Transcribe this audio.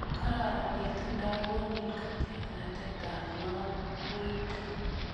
Kararanitu ndagonin katiganet ab ng'atutik